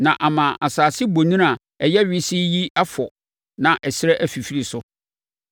na ama asase bonini a ɛyɛ wesee yi afɔ na ɛserɛ afifiri so?